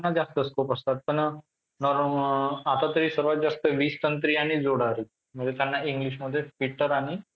त्यांना जास्त scope असतात पण आता तरी सर्वात जास्त वीजतंत्री आणि जोडारी म्हणजे त्यांना englishमध्ये fitter आणि